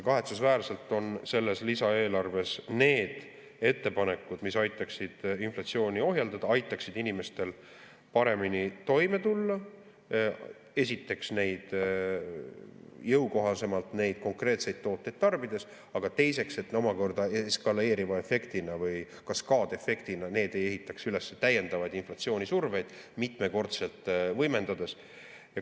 Selles lisaeelarves on ettepanekud, mis aitaksid inflatsiooni ohjeldada, aitaksid inimestel paremini toime tulla: esiteks, jõukohasemalt neid konkreetseid tooteid tarbides, teiseks, et need omakorda eskaleeriva efektina või kaskaadi efektina ei ehitaks üles täiendavaid inflatsioonisurveid, neid mitmekordselt võimendades.